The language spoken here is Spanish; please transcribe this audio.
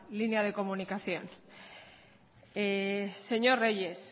línea de comunicación señor reyes